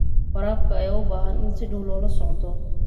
Waraabka ayaa u baahan in si dhow loola socdo.